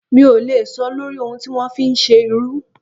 Mi ò lè sọ lórí ohun tí wọ́n fi ń ṣe irú.